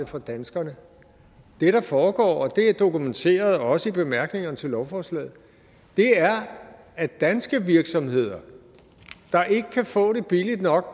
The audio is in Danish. fra danskerne det der foregår og det er dokumenteret også i bemærkningerne til lovforslaget er at danske virksomheder der ikke kan få det billigt nok